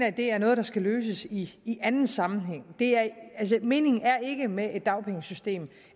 at det er noget der skal løses i anden sammenhæng altså meningen med et dagpengesystem